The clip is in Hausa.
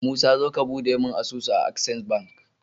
musa zo ka buɗe mune asusu a access bank